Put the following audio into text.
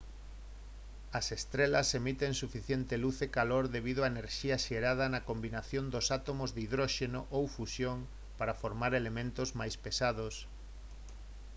as estrelas emiten suficiente luz e calor debido á enerxía xerada na combinación dos átomos de hidróxeno ou fusión para formar elementos máis pesados